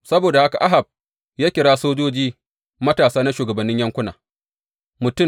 Saboda haka Ahab ya kira sojoji matasa na shugabannin yankuna, mutum